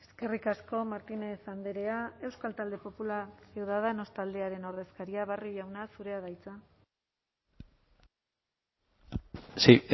eskerrik asko martínez andrea euskal talde popularra ciudadanos taldearen ordezkaria barrio jauna zurea da hitza sí